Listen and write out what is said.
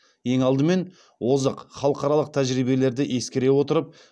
ең алдымен озық халықаралық тәжірибелерді ескере отырып